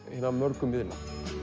hinna mörgu miðla